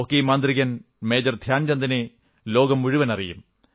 hockey മാന്ത്രികൻ major ധ്യാൻചന്ദിനെ ലോകം മുഴുവൻ അറിയും